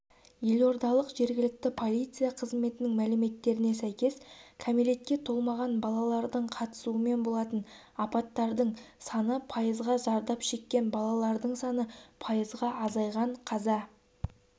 елордалық жергілікті полиция қызметінің мәліметтеріне сәйкес кәмелетке толмаған балалардың қатысуымен болатын апаттардың саны пайызға зардап шеккен балалардың саны пайызға азайған қаза